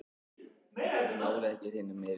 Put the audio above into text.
Náði ekki hreinum meirihluta